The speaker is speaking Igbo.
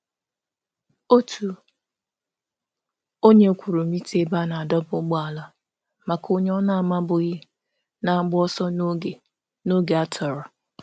Onye kwụrụ ụgwọ mita pakịn maka onye ọbịbịa na-agba ọsọ n’oge nhọpụta.